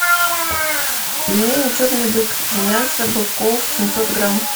пельмени черный бык из мяса быков семьсот грамм